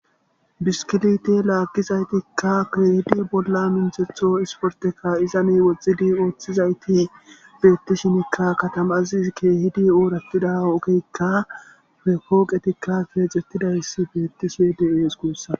Bisikilte lagiza bolla minthetho otho sporteta izan woxid othizayti betishnka katama kehid oratida ogeyka pooqetika othetidays betishe de'es gusako